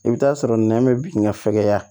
I bɛ taa sɔrɔ nɛ bɛ bin ka fɛgɛya